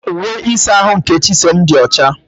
Uwe ịsa ahụ nke Chisom dị ọcha.